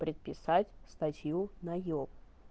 переписать статью на ёлку